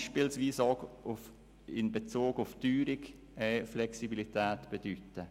Das kann beispielsweise auch in Bezug auf die Teuerung Flexibilität bedeuten.